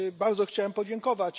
Bardzo chciałem podziękować.